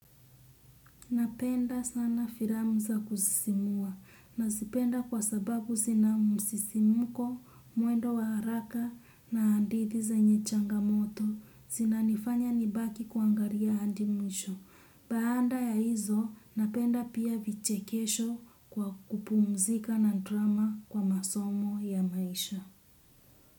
Napenda sana filamu za kusisimua. Nazipenda kwa sababu zina msisimuko, mwendo wa haraka na hadithi zenye changamoto. Zina nifanya nibaki kuangalia hadi mwisho. Baada ya hizo, napenda pia vichekesho kwa kupumzika na drama kwa masomo ya maisha.